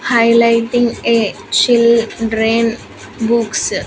Highlighting a children books.